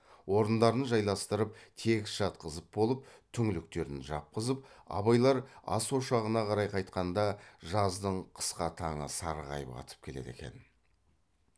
орындарын жайластырып тегіс жатқызып болып түңліктерін жапқызып абайлар ас ошағына қарай қайтқанда жаздың қысқа таңы сарғайып атып келеді екен